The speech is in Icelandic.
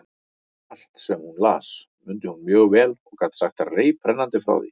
Allt, sem hún las, mundi hún mjög vel og gat sagt reiprennandi frá því.